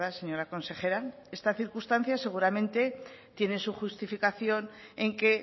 señora consejera esta circunstancia seguramente tiene su justificación en que